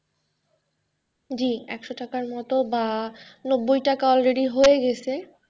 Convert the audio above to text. জি একশ টাকার মত বা নব্বই টাকা already হয়ে গেছে।